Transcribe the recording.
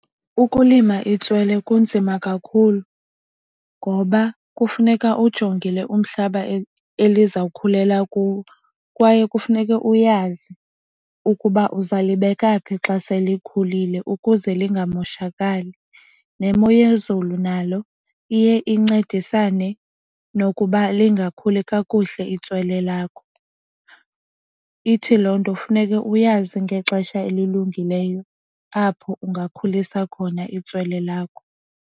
Ukulima itswele kunzima kakhulu ngoba kufuneka ujongile umhlaba elizawukhulela kuwo. Kwaye kufuneka uyazi ukuba uzalibeka phi xa selikhulile ukuze lingamoshakaali. Nemo yezulu nalo iye incedisane nokuba lingakhuli kakuhle itswele lakho. Ithi loo nto funeke uyazi ngexesha elilungileyo apho ungakhulisa khona itswele lakho.